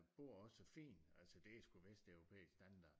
Bor også så fint altså det er sgu vesteuropæisk standard